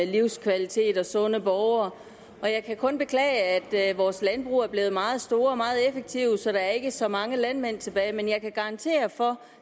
livskvalitet og sunde borgere jeg kan kun beklage at vores landbrug er blevet meget store og meget effektive så der ikke er så mange landmænd tilbage men jeg kan garantere for